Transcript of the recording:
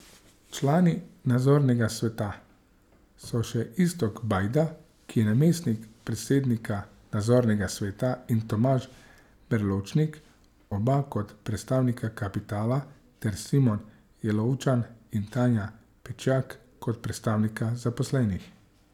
Člani nadzornega sveta so še Iztok Bajda, ki je namestnik predsednika nadzornega sveta, in Tomaž Berločnik, oba kot predstavnika kapitala, ter Simon Jelovčan in Tanja Pečjak kot predstavnika zaposlenih.